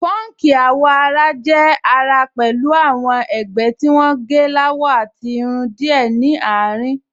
Pọ́nkì àwọ̀-ara jẹ́ àrà pẹ̀lú àwọn ẹ̀gbẹ́ tí wọ́n gẹ́ láwọ àti irun díẹ̀ ní àárín